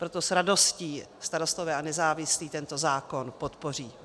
Proto s radostí Starostové a nezávislí tento zákon podpoří.